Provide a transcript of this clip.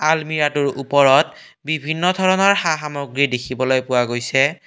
আলমিৰাটোৰ ওপৰত বিভিন্ন ধৰণৰ সা সামগ্ৰী দেখিবলৈ পোৱা গৈছে।